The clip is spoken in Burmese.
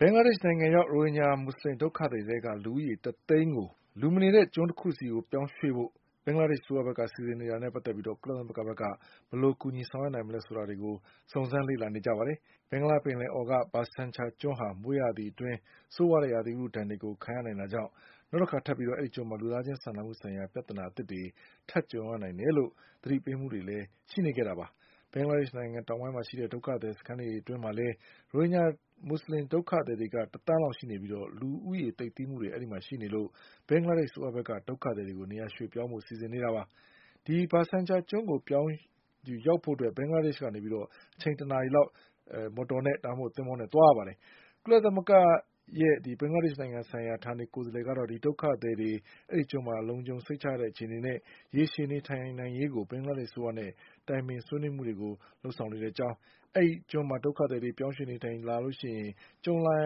ဘင်္ဂလားဒေ့ရှ်နိုင်ငံရောက် ရိုဟင်ဂျာမူဆလင်ဒုက္ခသည်တွေထဲက လူဦးရေတသိန်းကို လူမနေတဲ့ ကျွန်းတခု ဆီပြောင်း ရွှေ့ဖို့ ဘင်္ဂလားဒေ့ရှ် အစိုးရဘက်ကစီစဉ်နေတာနဲ့ ပတ်သက်ပြီး ကုလသမဂ္ဂဘက်က ဘယ်လိုကူညီနိုင်မလဲဆိုတာကို စုံစမ်းလေ့လာနေ ပါတယ်။ ဘင်္ဂလားပင်လယ်အော်က ဘာဆန်ချာကျွန်းဟာ မိုးရာသီအတွင်း ဆိုးဝါးတဲ့ ရာသီဥတု ဒဏ် ကို ခံရနိုင်တာကြောင့် နောက်တခါထပ်ပြီး အဲဒီကျွန်းမှာ လူသားချင်းစာနာမှုဆိုင်ရာ ပြဿနာသစ်တွေ ထပ်ကြုံရနိုင်တယ်လို့ သတိပေးမှုတွေလည်းရှိနေတာပါ။ ဘင်္ဂလားဒေ့ရှ် နိုင်ငံတောင်ပိုင်းမှာရှိနေတဲ့ ဒုက္ခသည်စခန်းတွေအတွင်းမှာလည်း ရိုဟင် ဂျာဒုက္ခသည်တွေ က တသန်းလောက်ရှိနေပြီး လူသိပ်သည်းမှုတွေရှိလာနေလို့ ဘင်္ဂလားဒေ့ရှ် အစိုးရဘက်က ဒုက္ခသည် တွေကိုနေရာပြောင်းဖို့စီစဉ်နေတာပါ။ အဲဒီဘာဆန်ချာကျွန်းကိုရောက်ဖို့ ဘင်္ဂလားဒေ့ရှ် ကနေ အချိန်တနာရီလောက် သင်္ဘောနဲ့ သွားရတာပါ။ ကုလသမဂ္ဂရဲ့ ဘင်္ဂလားဒေ့ရှ်နိုင်ငံဆိုင်ရာ ဌာနေကိုယ်စားလှယ်ကတော့ ဒုက္ခသည်တွေ အဲဒီ ကျွန်းမှာ လုံခြုံစိတ်ချရတဲ့အခြေအနေနဲ့ ရေရှည်နေထိုင်နိုင်ရေးကို ဘင်္ဂလားဒေ့ရှ်အစိုးရနဲ့ တိုင်ပင်ဆွေးနွေးနေကြောင်း၊ အဲဒီကျွန်းမှာ ဒုက္ခသည်တွေ ပြောင်းရွှေ့ နေထိုင်ကြရင် ကြုံလာ